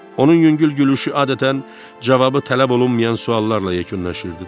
Onun yüngül gülüşü adətən cavabı tələb olunmayan suallarla yekunlaşırdı.